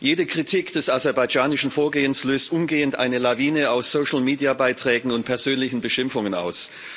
Jede Kritik des aserbaidschanischen Vorgehens löst umgehend eine Lawine aus Social Media Beiträgen und persönlichen Beschimpfungen aus.